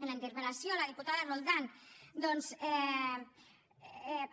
en la interpel·lació la diputada roldán doncs